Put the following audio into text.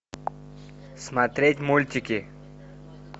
смотреть мультики